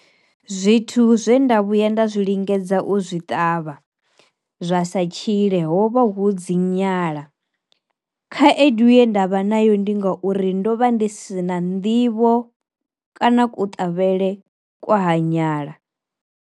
Zwithu zwe nda vhuya nda zwi lingedza u zwi ṱavha zwa sa tshile hovha hu dzi nyala, khaedu ye ndavha nayo ndi ngauri ndo vha ndi si na nḓivho kana kuṱavhele kwa ha nyala.